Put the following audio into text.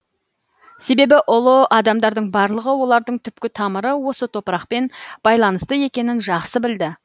себебі ұлы адамдардың барлығы олардың түпкі тамыры осы топарқпен байланысты екенін жақсы білді